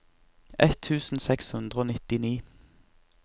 ett tusen seks hundre og nittini